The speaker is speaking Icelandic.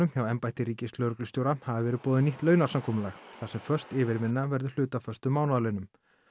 hjá embætti ríkislögreglustjóra hafi verið boðið nýtt þar sem föst yfirvinna verður hluti af föstum mánaðarlaunum